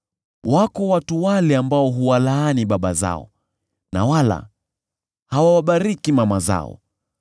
“Wako watu wale ambao huwalaani baba zao na wala hawawabariki mama zao;